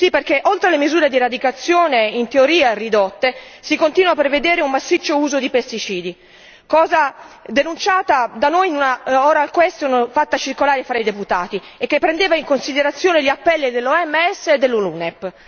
Sì, perché oltre le misure di eradicazione in teoria ridotte, si continua a prevedere un massiccio uso di pesticidi, cosa denunciata da noi in una interrogazione orale fatta circolare tra i deputati, che prendeva in considerazione gli appelli dell'OMS e dell'UNEP.